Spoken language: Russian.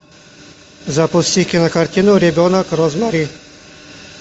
запусти кинокартину ребенок розмари